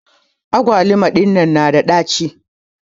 agwaluma dinnan na da dachi.